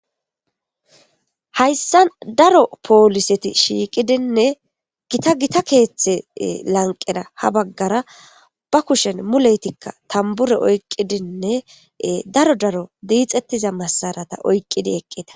Hayssa daro pooliseti shiiqidinne gita gita keeththe lanqena ha baggara ba kushen muleytikka tambure oyqqidinne daro daro diixettiza masarata oyqqidi eqqida.